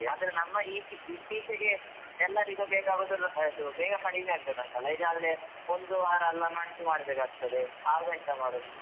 ಆದ್ರೆ ನಮ್ಮ ಇ~ ಇತ್ತೀಚೆಗೆ ಎಲ್ಲರಿಗೂ ಬೇಕಾಗುದು ಅದು ಬೇಗ ಕಡಿಮೆ ಆಗ್ಬೇಕಂತಲ್ಲ ಇಲ್ಲಾದ್ರೆ ಒಂದು ವಾರ ಎಲ್ಲ ಮದ್ದು ಮಾಡ್ಬೇಕಾಗ್ತದೆ ಆವಾಗ ಎಂತ ಮಾಡುದು.